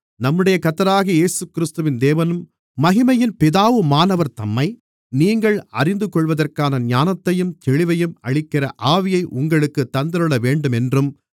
நம்முடைய கர்த்தராகிய இயேசுகிறிஸ்துவின் தேவனும் மகிமையின் பிதாவுமானவர் தம்மை நீங்கள் அறிந்துகொள்வதற்கான ஞானத்தையும் தெளிவையும் அளிக்கிற ஆவியை உங்களுக்குத் தந்தருளவேண்டுமென்றும்